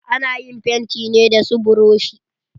Ana yin fenti ne da su buroshi.